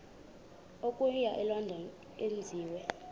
okuya elondon enziwe